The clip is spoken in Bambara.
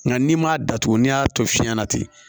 Nka n'i m'a datugu ni y'a to fiɲɛ na ten